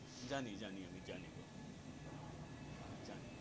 Johnny জানি আমি জানি গো আমি জানি.